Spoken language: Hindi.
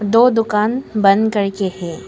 दो दुकान बंद करके है।